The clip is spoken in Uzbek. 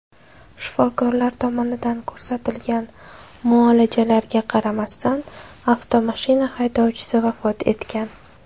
Shifokorlar tomonidan ko‘rsatilgan muolajalarga qaramasdan, avtomashina haydovchisi vafot etgan.